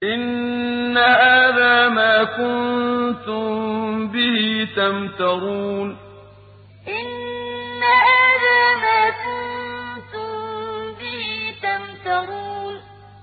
إِنَّ هَٰذَا مَا كُنتُم بِهِ تَمْتَرُونَ إِنَّ هَٰذَا مَا كُنتُم بِهِ تَمْتَرُونَ